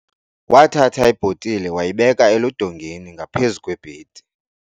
Wathatha ibhotile wayibeka eludongeni ngaphezu kwebhedi.